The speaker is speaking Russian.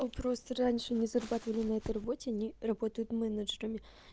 ну просто раньше мы зарабатывали на этой работе они работают менеджерами